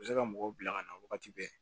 U bɛ se ka mɔgɔw bila ka na wagati bɛɛ